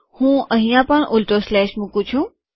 હું અહીંયા પણ ઉલટો સ્લેશ મુકું છું